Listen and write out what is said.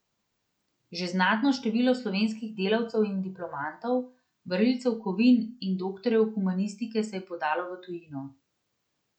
Že znatno število slovenskih delavcev in diplomantov, varilcev kovine in doktorjev humanistike se je podalo v tujino.